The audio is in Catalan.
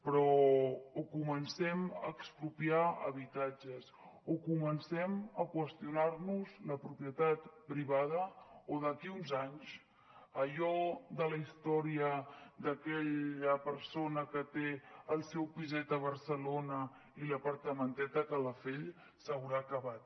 però o comencem a expropiar habitatges o comencem a qüestionar nos la propietat privada o d’aquí a uns anys allò de la història d’aquella persona que té el seu piset a barcelona i l’apartamentet a calafell s’haurà acabat